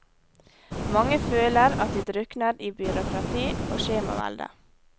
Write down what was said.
Mange føler at de drukner i byråkrati og skjemavelde.